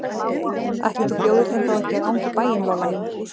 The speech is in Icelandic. Ætli þú bjóðir þeim þá ekki að ganga í bæinn, Lolla mín.